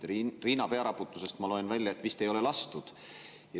Riina pearaputusest ma loen välja, et vist ei ole lastud.